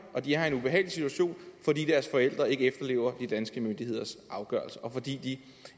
og de er i en ubehagelig situation fordi deres forældre ikke efterlever de danske myndigheders afgørelser og fordi de